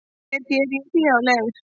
Hér ég geri hlé á leir